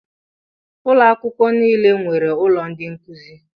Ụlọ akwụkwọ nile nwere ụlọ ndị nkụzi.